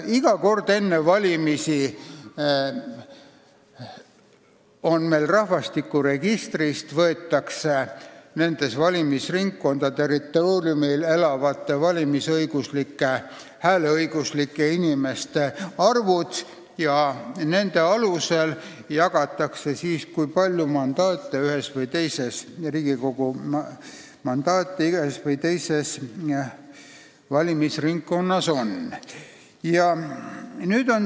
Iga kord enne valimisi võetakse rahvastikuregistrist välja kõigi valimisringkondade territooriumil elavate valimisõiguslike inimeste arv ja nende arvude alusel jagatakse ära, kui palju mandaate ühes või teises valimisringkonnas on.